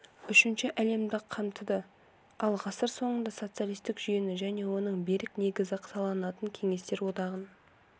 үшінші әлемді қамтыды ал ғасыр соңында социалистік жүйені және оның берік негізі саналатын кеңестер одағын